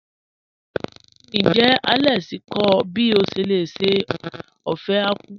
Níjẹ́ Alex kọ ọ̀ bí o ṣé lè ṣè ófẹ̀ àkwụ̀?